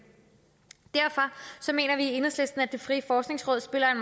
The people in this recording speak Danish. derfor mener vi i enhedslisten at det frie forskningsråd spiller en